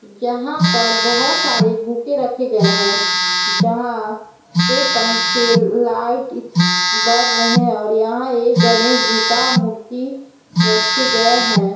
यहां पर बहुत सारे बुके रखे गए है जहां पे पंखे लाइट इ बर रहै हैं और यहां एक गणेश जी का मूर्ति रखे गए है।